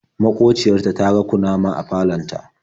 Maƙociya ta ta ga kunama a falon ta.